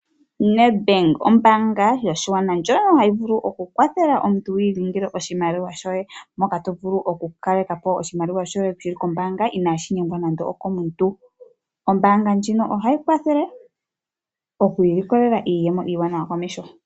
Ned Bank ombanga yoshigwana ndjoka hayi vulu okukwathela omuntu okutsilika oshimaliwa shoye moka to vulu okukalekapo oshimaliwa shoye shili kombanga ina shi gumwa nande okomuntu. Ombanga ndjino oha yi kwathele okwiilikolela iiyemo iiwanawa komeho.